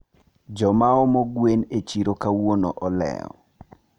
jomaomo gwen e chiro kawuono oleo